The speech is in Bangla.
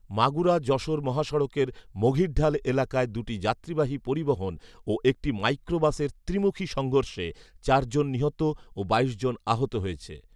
মাগুরা যশোর মহাসড়কের মঘিরঢাল এলাকায় দুটি যাত্রীবাহী পরিবহন ও একটি মাইক্রোবাসের ত্রিমুখী সংঘর্ষে চারজন নিহত ও বাইশ জন আহত হয়েছে